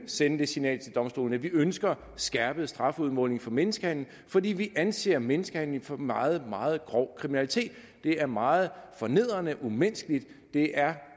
sende det signal til domstolene at vi ønsker skærpet strafudmåling for menneskehandel fordi vi anser menneskehandel for meget meget grov kriminalitet det er meget fornedrende umenneskeligt det er